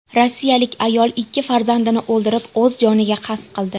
Rossiyalik ayol ikki farzandini o‘ldirib, o‘z joniga qasd qildi.